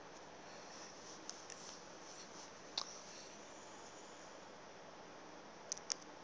ebuchabelo